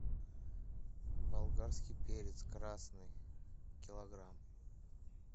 болгарский перец красный килограмм